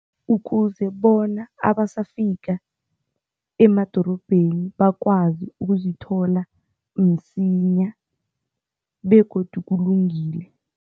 Ukuze bona abasafika emadorobheni bakwazi ukuzithola msinya begodu kulungile.